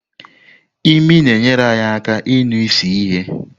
Imi na-enyere anyị aka ịnụ isi ihe.